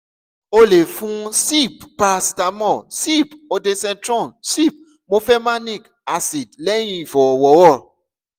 o lè fun sip paracetamol sip ondansetron sip mefenamic acid lẹ́yìn ìfọ̀rọ̀wọ́rọ̀